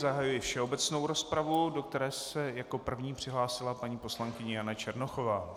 Zahajuji všeobecnou rozpravu, do které se jako první přihlásila paní poslankyně Jana Černochová.